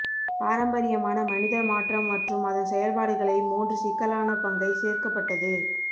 பாரம்பரியமான மனிதர் மாற்றம் மற்றும் அதன் செயல்பாடுகளை மூன்று சிக்கலான பங்கை சேர்க்கப்பட்டது